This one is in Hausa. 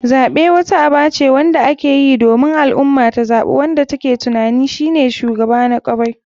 Zaɓe wata aba ce wanda akeyi domin al ummah ta zaɓi wanda take tuanin shine shugaba na kwarai.